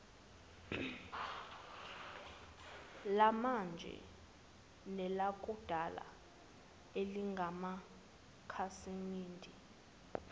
lamanje nelakudala elingamakhasimende